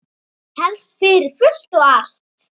Helst fyrir fullt og allt.